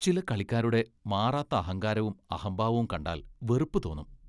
ചില കളിക്കാരുടെ മാറാത്ത അഹങ്കാരവും അഹംഭാവവും കണ്ടാൽ വെറുപ്പു തോന്നും.